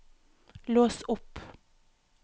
lås opp